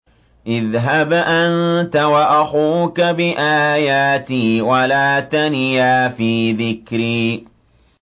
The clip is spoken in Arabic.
اذْهَبْ أَنتَ وَأَخُوكَ بِآيَاتِي وَلَا تَنِيَا فِي ذِكْرِي